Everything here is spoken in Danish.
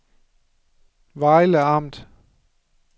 Vejle Amt